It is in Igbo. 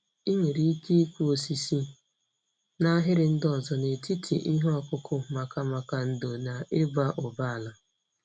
Ị nwere ike ịkụ osisi n'ahịrị ndị ọzọ n'etiti ihe ọkụkụ maka maka ndò na ịba ụba ala.